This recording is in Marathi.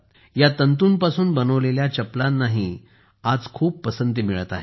या तंतुंपासून बनवलेल्या चपलांनाही आज खूप पसंती मिळत आहे